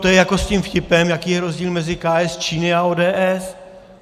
To je jako s tím vtipem - jaký je rozdíl mezi KS Číny a ODS.